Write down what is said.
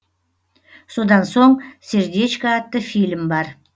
содан соң сердечко атты фильм бар